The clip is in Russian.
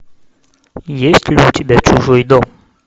есть ли у тебя чужой дом